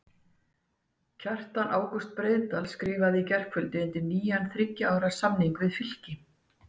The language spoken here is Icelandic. Kjartan Ágúst Breiðdal skrifaði í gærkvöldi undir nýjan þriggja ára samning við Fylki.